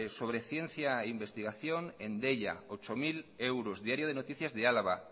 sobre ciencia e investigación en deia ocho mil euros diario de noticias de álava